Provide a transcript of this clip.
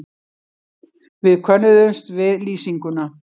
Við könnuðumst við lýsinguna.